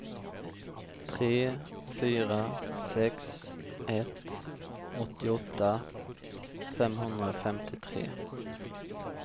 tre fyra sex ett åttioåtta femhundrafemtiotre